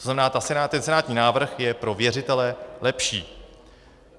To znamená, ten senátní návrh je pro věřitele lepší.